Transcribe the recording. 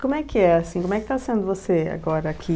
Como é que é, assim, como é que tá sendo você agora aqui?